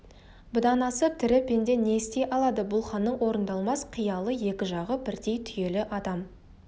бұдан асып тірі пенде не істей алады бұл ханның орындалмас қиялы екі жағы бірдей түйелі адам